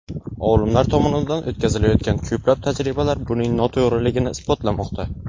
Olimlar tomonidan o‘tkazilayotgan ko‘plab tajribalar buning noto‘g‘riligini isbotlamoqda.